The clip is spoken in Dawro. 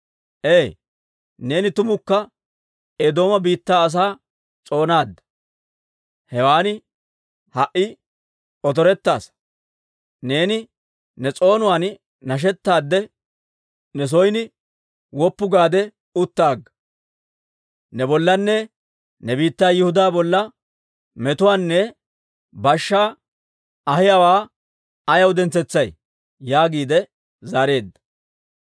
Ee, neeni tumukka Eedooma biittaa asaa s'oonaadda; hewan ha"i otorettaasa. Neeni ne s'oonuwaan nashettaadde, ne son woppu gaade utta agga. Ne bollanne ne biittaa Yihudaa bolla metuwaanne bashshaanne ahiyaawaa ayaw dentsetsay?» yaagiide zaareedda.